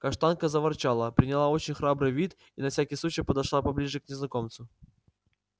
каштанка заворчала приняла очень храбрый вид и на всякий случай подошла поближе к незнакомцу